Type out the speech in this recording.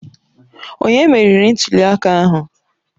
Onye meriri ntuli aka ahụ?